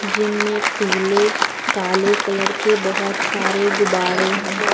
Gym में पीले काले कलर के बहुत सारे ग़ुबाड़े हैं।